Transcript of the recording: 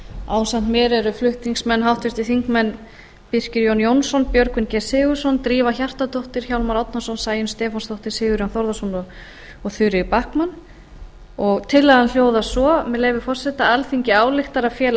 ásamt mér eru flutningsmenn háttvirtir þingmenn birkir j jónsson björgvin g sigurðsson drífa hjartardóttir hjálmar árnason sæunn stefánsdóttir sigurjón þórðarson og þuríður backman tillagan hljóðar svo með leyfi forseta alþingi ályktar að fela